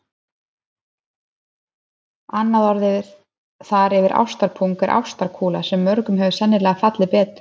Annað orð þar yfir ástarpung er ástarkúla sem mörgum hefur sennilega fallið betur.